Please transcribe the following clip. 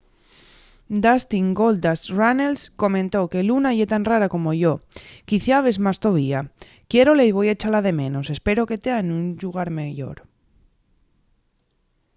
dustin goldust” runnels comentó que luna ye tan rara como yo... quiciabes más tovía... quiérola y voi echala de menos... espero que tea nun llugar meyor.